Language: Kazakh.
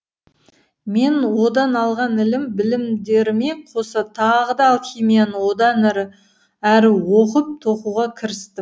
мен одан алған ілім білімдеріме қоса тағы да алхимияны одан әрі оқып тоқуға кірістім